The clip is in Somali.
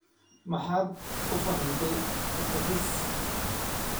Maxaad u fahantay Boortaqiis?